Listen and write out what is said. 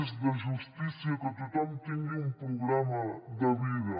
és de justícia que tothom tingui un programa de vida